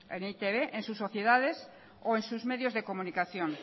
en e i te be en sus sociedades o en sus medios de comunicación